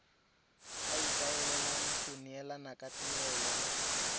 ikaelelang go neelana ka tirelo